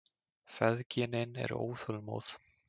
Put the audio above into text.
Feðginin eru óþolinmóð.